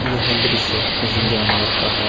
यह दृश्य किसी जानवर का है ।